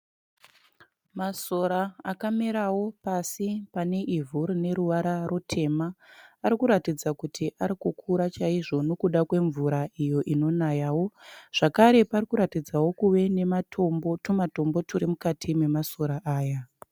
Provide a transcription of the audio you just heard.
Masora akamerawo pasi pane ivhu rine ruvara rutema. Ari kuratidza kuti ari kukura chaizvo nekuda kwemvura iyo inonayawo. Zvakare pari kuratidzawo kuve nematombo tumatombo turi mukati memasora aya.